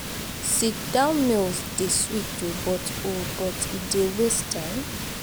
sit-down meals dey sweet o but o but e dey waste time.